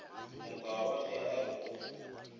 mokaba ge a re go